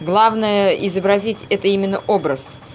главное изобразить это именно образ